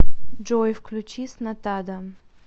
джой включи снатада